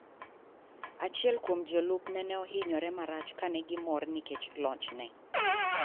Achiel kuom jolupne ne ohinyore marach kane gimorr nikech lochne.